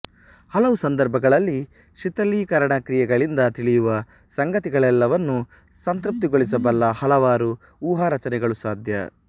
ಹಲವು ಸಂದರ್ಭಗಳಲ್ಲಿ ಶಿಥಿಲೀಕರಣಕ್ರಿಯೆಗಳಿಂದ ತಿಳಿಯುವ ಸಂಗತಿಗಳೆಲ್ಲವನ್ನೂ ಸಂತೃಪ್ತಿಗೊಳಿಸಬಲ್ಲ ಹಲವಾರು ಊಹಾರಚನೆಗಳು ಸಾಧ್ಯ